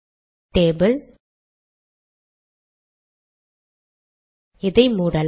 table இதை மூடலாம்